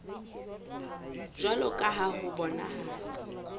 jwalo ka ha ho bonahala